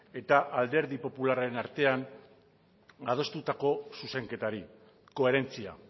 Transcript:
eta alderdi popularraren artean adostutako zuzenketari koherentzia